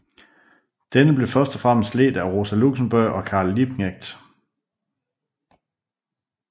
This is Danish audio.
Denne blev først og fremmest ledt af Rosa Luxemburg og Karl Liebknecht